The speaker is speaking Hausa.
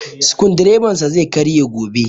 Sukudireban sa zai karye gobe